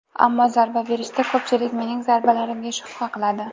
Ammo zarba berishda... Ko‘pchilik mening zarbalarimga shubha qiladi.